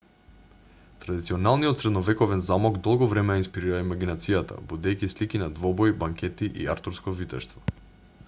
традиционалниот средновековен замок долго време ја инспирира имагинацијата будејќи слики на двобои банкети и артурско витештво